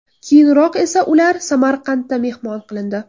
Keyinroq esa ular Samarqandda mehmon qilindi.